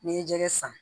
N'i ye jɛgɛ san